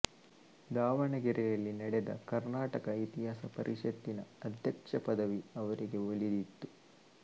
ದಾವಣಗೆರೆಯಲ್ಲಿ ನಡೆದ ಕರ್ನಾಟಕ ಇತಿಹಾಸ ಪರಿಷತ್ತಿನ ಅಧ್ಯಕ್ಷಪದವಿ ಅವರಿಗೆ ಒಲಿದಿತ್ತು